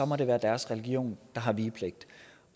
må det være deres religion der har vigepligt